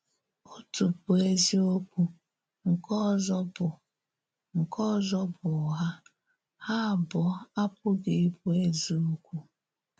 Òtù bụ́ ezìokwu, nke òzò bụ́ nke òzò bụ́ ụ̀ghà; hà abụọ̀ apụghị ịbụ ezìokwu.